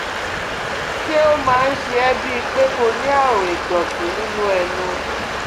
Ṣé ó máa ń ṣe ẹ́ bíi pé kó o ní àrùn ìdọ̀tí nínú ẹnu?